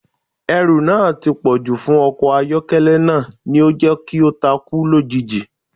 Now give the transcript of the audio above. Ẹrù náà tí pọ̀jù fún ọkọ̀ àyọ́kẹ́lẹ́ náà ni ó jẹ́ kí ó takú lójijì